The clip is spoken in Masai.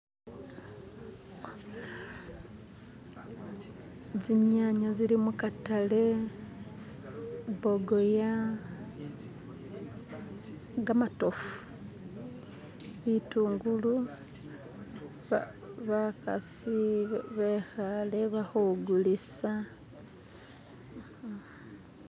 Zinyanya zili mukatale, bogoya, gamatofu, bitungulu, bakasi bekhale ba hugulisa.